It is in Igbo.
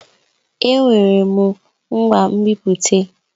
Èé! Enwere m ngwa nbipute.